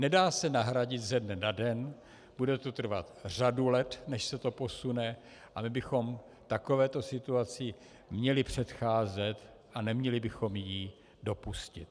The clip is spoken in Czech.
Nedá se nahradit ze dne na den, bude to trvat řadu let, než se to posune, a my bychom takovéto situaci měli předcházet a neměli bychom ji dopustit.